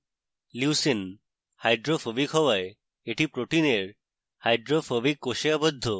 leucine hydrophobic হওয়ায় এটি protein hydrophobic core আবদ্ধ